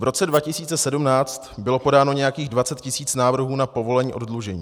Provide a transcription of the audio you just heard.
V roce 2017 bylo podáno nějakých 20 tisíc návrhů na povolení oddlužení.